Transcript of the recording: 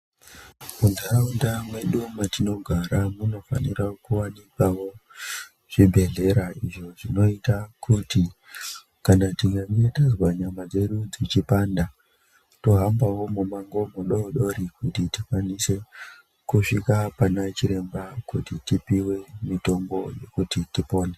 Muntaraunda mwedu metinogara munofanira kuwanikwawo zvibhedhlera izvo zvinoita kuti kana tikange tazwa nyama dzedu dzichipanda tohambawo mumango mudodori kuti tikwanise kusvika pana chiremba kuti tipiwe mitombi, kuti tipone.